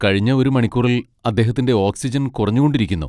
കഴിഞ്ഞ ഒരു മണിക്കൂറിൽ അദ്ദേഹത്തിന്റെ ഓക്സിജൻ കുറഞ്ഞുകൊണ്ടിരിക്കുന്നു.